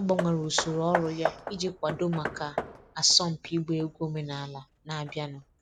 Ọ gbanwere usoro ọrụ ya iji kwadoo maka asọmpi ịgba egwu omenala na-abịanụ.